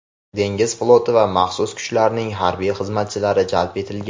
dengiz floti va maxsus kuchlarning harbiy xizmatchilari jalb etilgan.